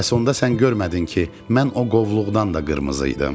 Bəs onda sən görmədin ki, mən o qovluqdan da qırmızı idim.